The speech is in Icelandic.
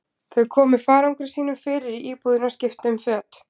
Þau komu farangri sínum fyrir í íbúðinni og skiptu um föt.